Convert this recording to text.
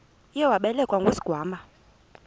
uye wabelekwa ngusigwamba